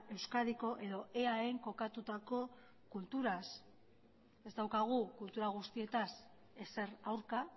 euskadiko edo eaen kokatutako kulturaz ez daukagu kultura guztietaz ezer aurka